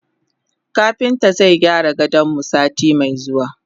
Kapintan zaigyara gadonmu sati me zuwa.